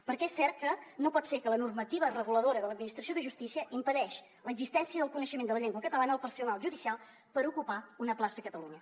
perquè és cert que no pot ser que la normativa reguladora de l’administració de justícia impedeixi l’existència del coneixement de la llengua catalana al personal judicial per ocupar una plaça a catalunya